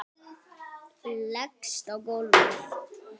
Leggst á gólfið.